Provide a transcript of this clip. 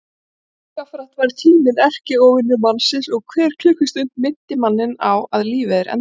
Jafnframt varð tíminn erkióvinur mannsins og hver klukkustund minnti manninn á að lífið er endanlegt.